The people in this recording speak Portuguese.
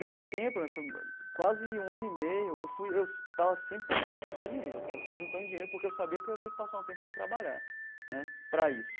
Nesse tempo né, foi quase um ano e meio, eu fui eu estava sempre preocupado em juntar dinheiro sabe, fui juntando dinheiro porque eu sabia que eu ia ter que passar um tempo sem trabalhar né para isso.